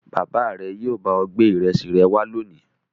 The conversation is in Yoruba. Bàbá rẹ yóò bá ọ gbé ìrẹsì wá lónìí.